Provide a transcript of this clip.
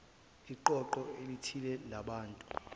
iqoqo elithile labantu